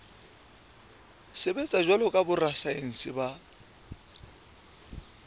sebetsa jwalo ka borasaense ba